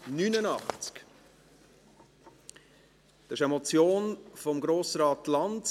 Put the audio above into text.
Es ist eine Motion von Grossrat Lanz: